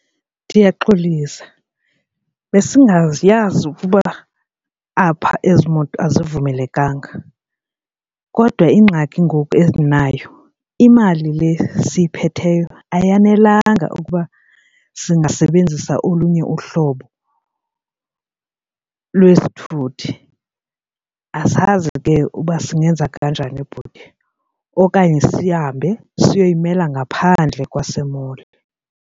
Ndiyaxolisa, besingayazi ukuba apha ezi moto azivumelekanga. Kodwa ingxaki ngoku endinayo imali le siyiphatheyo ayanelanga ukuba singasebenzisa olunye uhlobo lwesithuthi. Asazi ke uba singenza kanjani, bhuti, okanye sihambe siyoyimela ngaphandle kwase-mall.